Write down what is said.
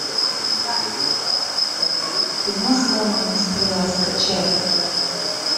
кино сломанная стрела скачай